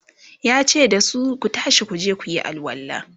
yace dasu "Ku tashi kuje kuyi alwala!"